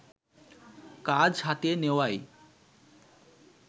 কাজ হাতিয়ে নেওয়াই